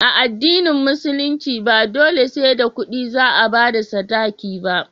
A addinin musulunci ba dole sai da kudi za a bada sadaki ba